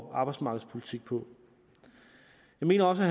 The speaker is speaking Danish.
og arbejdsmarkedspolitik på jeg mener også